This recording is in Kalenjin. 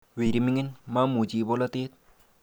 Weri mining', mamuchi bolatet